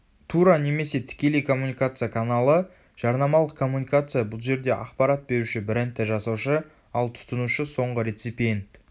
тура немесе тікелей коммуникация каналы жарнамалық коммуникация бұл жерде ақпарат беруші брендті жасаушы ал тұтынушы соңғы рецепиент